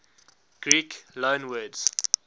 greek loanwords